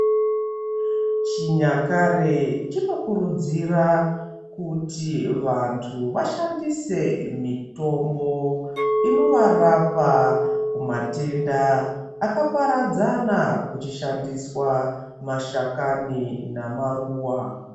Chinyakare chinokuridzira kuti vantu vashandise mitombo inovarapa kumatenda akaparadzana kuchishandiswa mashakani namaruwa